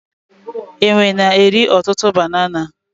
Enwe na-eri ọtụtụ banana.